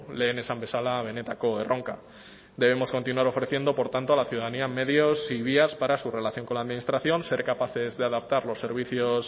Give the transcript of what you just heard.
lehen esan bezala benetako erronka debemos continuar ofreciendo por tanto a la ciudadanía medios y vías para su relación con la administración ser capaces de adaptar los servicios